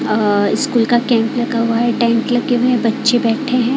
अहं स्कूल का कैंप लगा हुआ है टेंट लगे हुए हैं बच्चे बैठे हैं।